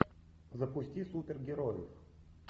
запусти супергерои